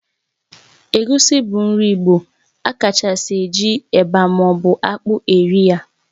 Egusi bu nri igbo, a kachasi eji eba ma obu akpụ eri ya